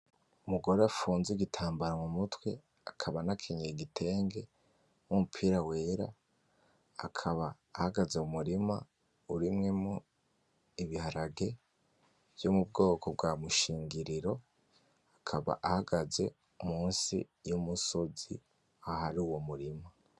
Umugore afunze igitambara mumutwe, akaba anakenyeye igitenge n'umupira wera, akaba ahagaze mu murima urimwo ibiharage vyo mubwoko bwa Mushingiriro, akaba ahagaze munsi y'umusozi ahari uwo murima.